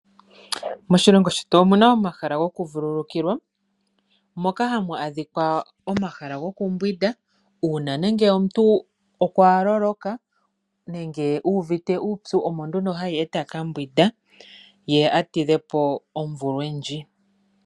Moshilingo shetu omu na omahala gokuvululukilwa moka hamu adhika omahala gokumbwinda uuna omuntu a loloka nenge uvite uupyu omo nduno hayi e ta ka mbwinda a tidhepo omvulwe ndjoka.